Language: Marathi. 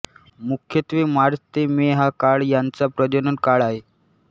मुख्यत्वे मार्च ते मे हा काळ यांचा प्रजनन काळ आहे